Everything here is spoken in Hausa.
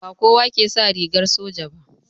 Ba kowa ke sa rigar soja ba